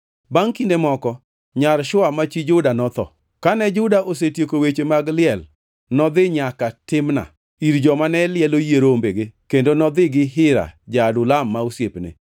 Bangʼ kinde moko, nyar Shua ma chi Juda notho. Kane Juda osetieko weche mag liel, nodhi nyaka Timna ir joma ne lielo yie rombege kendo nodhi gi Hira ja-Adulam ma osiepne.